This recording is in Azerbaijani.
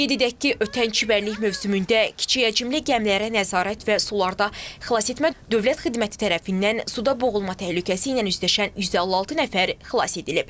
Qeyd edək ki, ötən çimərlik mövsümündə kiçik həcmli gəmilərə nəzarət və sularda xilas etmə Dövlət Xidməti tərəfindən suda boğulma təhlükəsi ilə üzləşən 156 nəfər xilas edilib.